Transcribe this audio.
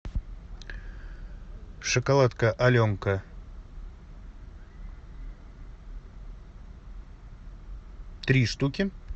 шоколадка аленка три штуки